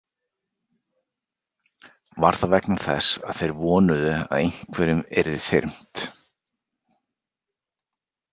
Var það vegna þess að þeir vonuðu að einhverjum yrði þyrmt?